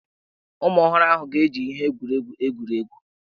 Ụmụ ọhụrụ ahụ hà ga-eji ihe egwuregwu egwuri egwu?